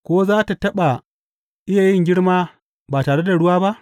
Ko za tă taɓa iya yin girma ba tare da ruwa ba?